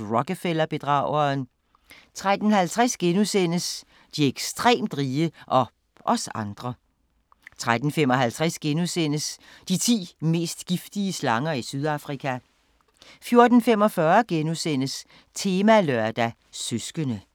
Rockefeller-bedrageren * 13:50: De ekstremt rige – og os andre * 13:55: De ti mest giftige slanger i Sydafrika * 14:45: Temalørdag: Søskende *